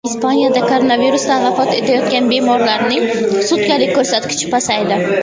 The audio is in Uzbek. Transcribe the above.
Ispaniyada koronavirusdan vafot etayotgan bemorlarning sutkalik ko‘rsatkichi pasaydi.